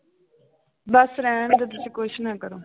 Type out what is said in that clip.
ਬਸ ਰਹਿਣਦੇ ਤੁਸੀਂ ਕੁਛ ਨਾ ਕਰੋ